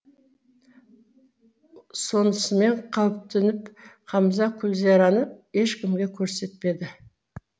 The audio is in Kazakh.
сонысымен қауіптеніп қамза күлзайраны ешкімге көрсетпеді